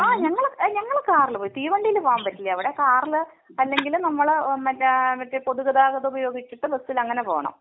അഹ് ഞങ്ങള് ഞങ്ങൾ കാറിൽ പോയി. തീവണ്ടിയിൽ പോവാൻ പറ്റില്ല അവിടെ. കാറിൽ അല്ലെങ്കിൽ നമ്മളെ മറ്റെ പൊതു ഗതാഗതം ഉപയോഗിച്ച് ബസിൽ അങ്ങനെ പോണം.